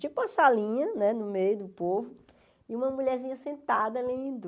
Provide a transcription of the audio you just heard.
tipo uma salinha né no meio do povo e uma mulherzinha sentada lendo.